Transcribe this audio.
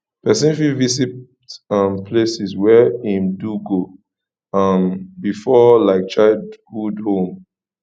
person fit visit um places where im do go um before like childhood home